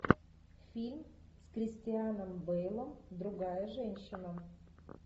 фильм с кристианом бейлом другая женщина